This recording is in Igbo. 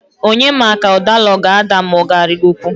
Onye ma ka doḷa ọ g'ada ada k'ọga arịgokwu?